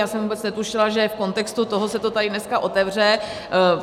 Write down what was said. Já jsem vůbec netušila, že v kontextu toho se to tady dneska otevře.